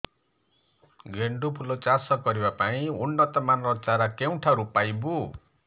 ଗେଣ୍ଡୁ ଫୁଲ ଚାଷ କରିବା ପାଇଁ ଉନ୍ନତ ମାନର ଚାରା କେଉଁଠାରୁ ପାଇବୁ